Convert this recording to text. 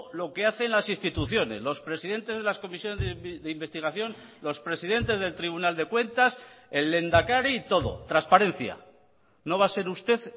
lo que hacen las instituciones los presidentes de las comisiones de investigación los presidentes del tribunal de cuentas el lehendakari y todo transparencia no va a ser usted